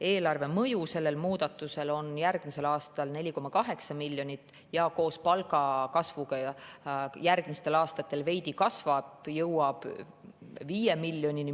Selle muudatuse mõju eelarvele on järgmisel aastal 4,8 miljonit, koos palgakasvuga see järgmistel aastatel veidi kasvab ja jõuab umbes 5 miljonini.